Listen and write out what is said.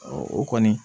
o kɔni